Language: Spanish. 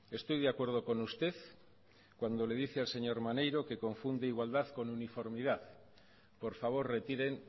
estoy de acuerdo con usted cuando le dice al señor maneiro que confunde igualdad con uniformidad por favor retiren